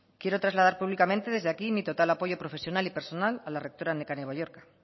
quiero trasladar públicamente desde aquí mi total apoyo profesional y personal a la rectora nekane balluerka